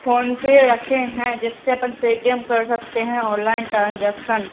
PhonePe रखे हैं जिससे अपन पेटिऍम कर सकते है ऑनलाइन ट्रांजेक्शन ।